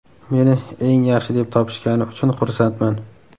Meni eng yaxshi deb topishgani uchun xursandman.